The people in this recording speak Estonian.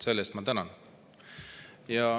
Selle eest ma tänan.